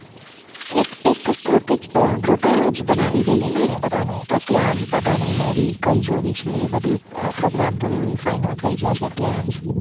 એક એક group જ બનાવી લઈને બધાનું તો ત્યાં જ બધાની movie કઈ જોવી છે એ બધું program પૂરું final થઇ જશે ત્યાંજ